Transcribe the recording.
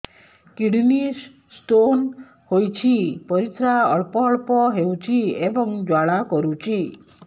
kidney stone ହୋଇଛି ପରିସ୍ରା ଅଳ୍ପ ଅଳ୍ପ ହେଉଛି ଏବଂ ଜ୍ୱାଳା କରୁଛି